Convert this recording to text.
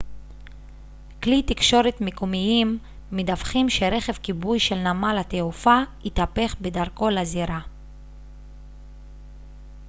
כלי תקשורת מקומיים מדווחים שרכב כיבוי של נמל התעופה התהפך בדרכו לזירה